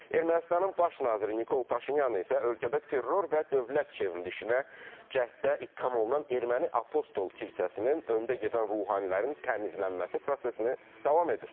Ermənistanın baş naziri Nikol Paşinyan isə ölkədə terror və dövlət çevrilişinə cəhddə ittiham olunan erməni apostol kilsəsinin öndə gedən ruhanilərin təmizlənməsi prosesini davam edir.